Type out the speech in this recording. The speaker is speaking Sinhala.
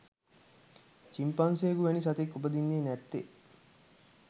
චිම්පන්සියෙකු වැනි සතෙක් උපදින්නේ නැත්තේ.